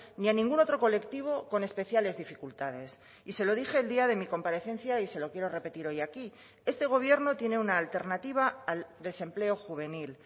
ni a ningún otro colectivo con especiales dificultades y se lo dije el día de mi comparecencia y se lo quiero repetir hoy aquí este gobierno tiene una alternativa al desempleo juvenil